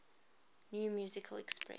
new musical express